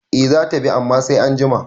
Eh zata bi amma sai anjima